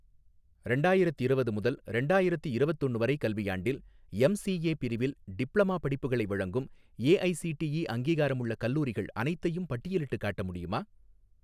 ரெண்டாயிரத்திரவது முதல் ரெண்டாயிரத்தி இரவத்தொன்னு வரை கல்வியாண்டில், எம்சிஏ பிரிவில் டிப்ளமா படிப்புகளை வழங்கும் ஏஐஸிடிஇ அங்கீகாரமுள்ள கல்லூரிகள் அனைத்தையும் பட்டியலிட்டுக் காட்ட முடியுமா?